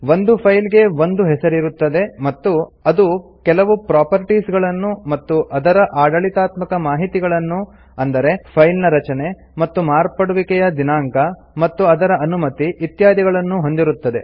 ಒಂದು ಫೈಲ್ ಗೆ ಒಂದು ಹೆಸರಿರುತ್ತದೆ ಮತ್ತು ಅದು ಕೆಲವು ಪ್ರೊಪರ್ಟಿಸ್ ಗಳನ್ನು ಮತ್ತು ಅದರ ಆಡಳಿತಾತ್ಮಕ ಮಾಹಿತಿಗಳನ್ನು ಅಂದರೆ ಫೈಲ್ ನ ರಚನೆ ಮತ್ತು ಮಾರ್ಪಡುವಿಕೆಯ ದಿನಾಂಕ ಮತ್ತು ಅದರ ಅನುಮತಿ ಇತ್ಯಾದಿಗಳನ್ನು ಹೊಂದಿರುತ್ತದೆ